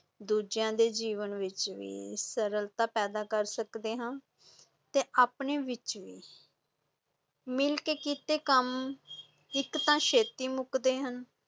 ਦੂਜਿਆਂ ਦੇ ਜੀਵਨ ਵਿੱਚ ਵੀ ਸਰਲਤਾ ਪੈਦਾ ਕਰ ਸਕਦੇ ਹਾਂ ਤੇ ਆਪਣੇ ਆਪ ਵਿਚ ਵੀ ਮਿਲ ਕੇ ਕੀਤੇ ਕੰਮ ਇੱਕ ਤਾਂ ਛੇਤੀ ਮੁੱਕਦੇ ਹਨ,